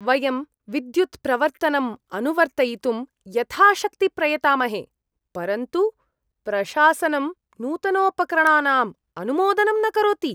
वयं विद्युत्प्रवर्तनं अनुवर्तयितुं यथाशक्ति प्रयतामहे, परन्तु प्रशासनं नूतनोपकरणानाम् अनुमोदनं न करोति।